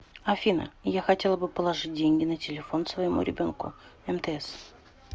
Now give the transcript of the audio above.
афина я хотела бы положить деньги на телефон своему ребенку мтс